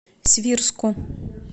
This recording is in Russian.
свирску